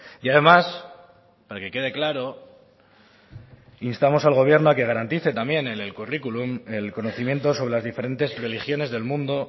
y además para que quede claro instamos al gobierno a que garantice también en el currículum el conocimiento sobre las diferentes religiones del mundo